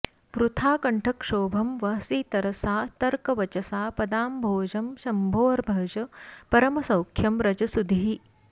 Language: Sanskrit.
वृथा कण्ठक्षोभं वहसि तरसा तर्कवचसा पदाम्भोजं शम्भोर्भज परमसौख्यं व्रज सुधीः